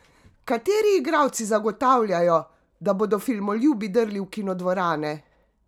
Kateri igralci zagotavljajo, da bodo filmoljubi drli v kinodvorane?